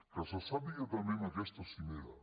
que se sàpiga també en aquesta cimera